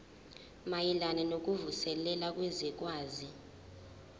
mayelana nokuvuselela kwezwekazi